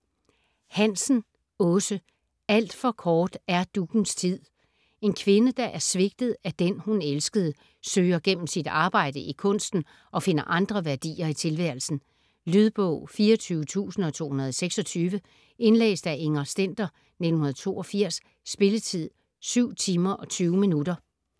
Hansen, Aase: Alt for kort er duggens tid En kvinde, der er svigtet af den, hun elskede, søger gennem sit arbejde i kunsten at finde andre værdier i tilværelsen. Lydbog 24226 Indlæst af Inger Stender, 1982. Spilletid: 7 timer, 20 minutter.